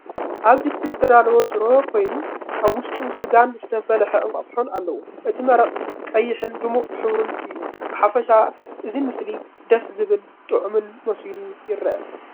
ኣብ ድስቲ ዝተዳለወ ሽሮ ኮይኑ፡ ኣብ ውሽጡ ስጋን ዝተፈለሐ እንቋቑሖን ኣለዎ። እቲ መረቕ ቀይሕን ድሙቕ ሕብሩን እዩ። ብሓፈሻ እቲ ምስሊ ደስ ዘብልን ጥዑምን መሲሉ ይረአ።